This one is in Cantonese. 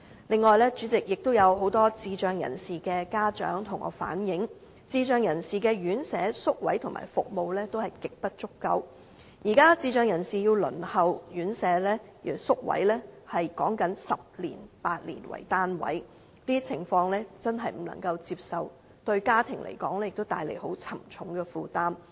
此外，主席，有很多智障人士的家長向我反映，智障人士的院舍、宿位和服務極不足夠，現時智障人士輪候院舍宿位的時間是8至10年，這些情況真的不能接受，而且也為家庭帶來很沉重的負擔。